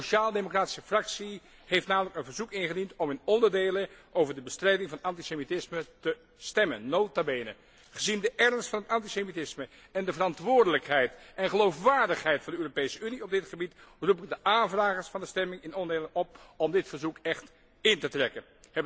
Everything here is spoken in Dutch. De EFD Fractie heeft namelijk een verzoek ingediend om in onderdelen over de bestrijding van antisemitisme te stemmen. Nota bene, gezien de ernst van het antisemitisme en de verantwoordelijkheid en geloofwaardigheid van de Europese Unie op dit gebied roep ik de aanvragers van de stemming in onderdelen op om dit verzoek in te trekken.